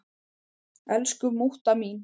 Elsku mútta mín.